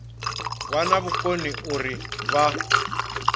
vha na vhukoni uri vha